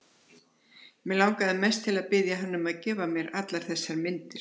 Mig langaði mest til að biðja hann um að gefa mér allar þessar myndir.